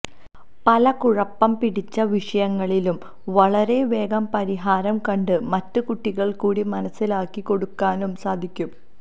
പല കുഴപ്പം പിടിച്ച വിഷയങ്ങളിലും വളരെ വേഗം പരിഹാരം കണ്ട് മറ്റ് കുട്ടികൾക്കൂടി മനസ്സിലാക്കി കൊടുക്കാനും സാധിക്കും